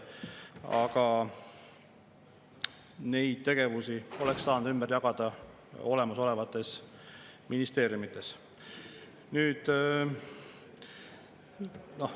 Aga need tegevused oleks saanud ümber jagada olemasolevates ministeeriumides.